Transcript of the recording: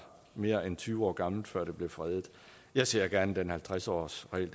mere end tyve år gammelt før det blev fredet jeg ser gerne at den halvtreds årsregel